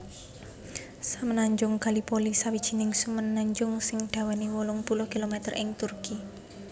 Semenanjung Gallipoli sawijining semenanjung sing dawané wolung puluh kilometer ing Turki